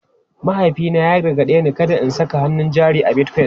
Mahaifina ya gargaɗe ni kada in saka hannun jari a Bitcoin.